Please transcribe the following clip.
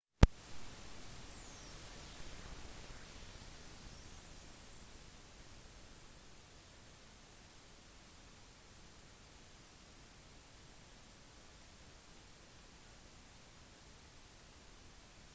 flyselskapene som leverer disse er blant annet air canada delta air lines lufthansa for flyvninger som kommer fra usa eller canada og westjet